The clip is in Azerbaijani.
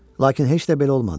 Lakin heç də belə olmadı.